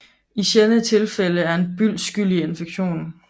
I sjældne tilfælde er en byld skyld i infektionen